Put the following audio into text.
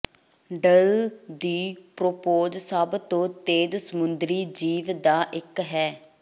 ਡੱਲ ਦੀ ਪੋੋਰਪੋਜ਼ ਸਭ ਤੋਂ ਤੇਜ਼ ਸਮੁੰਦਰੀ ਜੀਵ ਦਾ ਇੱਕ ਹੈ